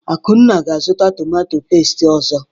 Akunna ga-azụta tomatọ pẹ́sti ọzọ.